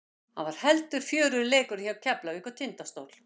Hann var heldur fjörugri leikurinn hjá Keflavík og Tindastól.